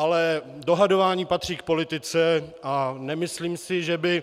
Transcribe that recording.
Ale dohadování patří k politice a nemyslím si, že by